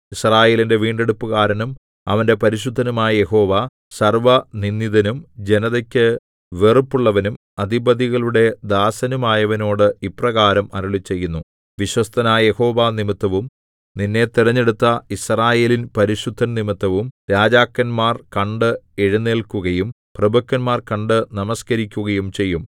യിസ്രായേലിന്റെ വീണ്ടെടുപ്പുകാരനും അവന്റെ പരിശുദ്ധനുമായ യഹോവ സർവ്വനിന്ദിതനും ജനതക്കു വെറുപ്പുള്ളവനും അധിപതികളുടെ ദാസനുമായവനോട് ഇപ്രകാരം അരുളിച്ചെയ്യുന്നു വിശ്വസ്തനായ യഹോവ നിമിത്തവും നിന്നെ തിരഞ്ഞെടുത്ത യിസ്രായേലിൻ പരിശുദ്ധൻ നിമിത്തവും രാജാക്കന്മാർ കണ്ട് എഴുന്നേല്ക്കുകയും പ്രഭുക്കന്മാർ കണ്ടു നമസ്കരിക്കുകയും ചെയ്യും